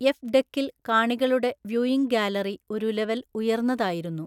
F ഡെക്കിൽ കാണികളുടെ viewing gallery ഒരു ലെവൽ ഉയർന്നതായിരുന്നു.